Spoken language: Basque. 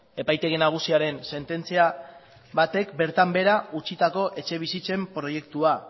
epaitegi nagusiaren sententzia batek bertan behera utzitako etxebizitzen proiektua